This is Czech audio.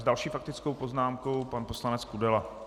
S další faktickou poznámkou pan poslanec Kudela.